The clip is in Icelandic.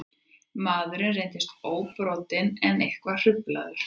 Maðurinn reyndist óbrotinn en eitthvað hruflaður